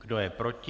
Kdo je proti?